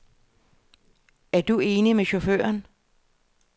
Er du enig med chaufføren.